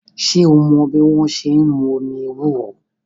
Ṣé o mọ́ bí wọ́n ṣe n mú omi ewúro?